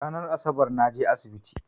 Ranan Asabar naje asibiti